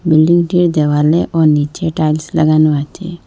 বিল্ডিংটির দেওয়ালে ও নিচে টাইলস লাগানো আছে।